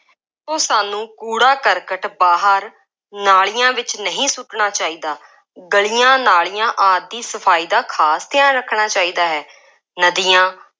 ਉਹ ਸਾਨੂੰ ਕੂੜਾ ਕਰਕਟ ਬਾਹਰ ਨਾਲੀਆਂ ਵਿੱਚ ਨਹੀਂ ਸੁੱਟਣਾ ਚਾਹੀਦਾ। ਗਲੀਆਂ, ਨਾਲੀਆਂ ਆਦਿ ਦੀ ਸਫਾਈ ਦਾ ਖਾਸ ਧਿਆਨ ਰੱਖਣਾ ਚਾਹੀਦਾ ਹੈ।॥ ਨਦੀਆਂ